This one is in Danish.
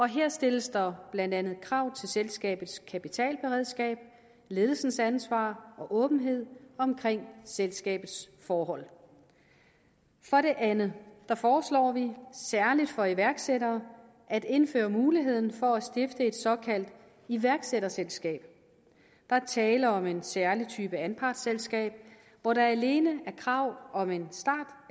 her stilles der blandt andet krav til selskabets kapitalberedskab ledelsens ansvar og åbenhed omkring selskabets forhold for det andet foreslår vi særligt for iværksættere at indføre muligheden for at stifte et såkaldt iværksætterselskab der er tale om en særlig type anpartsselskab hvor der alene er krav om en start